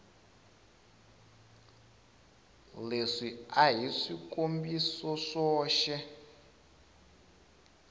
leswi a hi swikombiso swoxe